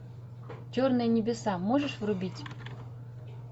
черные небеса можешь врубить